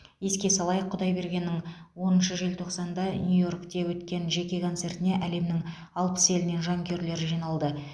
еске салайық құдайбергеннің оныншы желтоқсанда нью йоркте өткен жеке концертіне әлемнің алпыс елінен жанкүйерлер жиналды